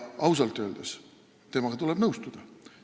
Ausalt öeldes tuleb temaga nõustuda.